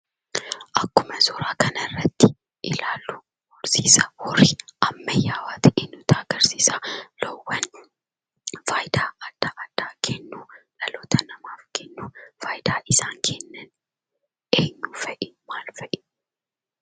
Akkuma suuraa kanarratti ilaalluu horsiisa horii ammayyaawwaa ta'e nutti agarsiisaa, loowwan faayidaa adda addaa kennu dhaloota namaaf kennuu fayidaa isaan kennan eenyu fa'i? Maal fa'i?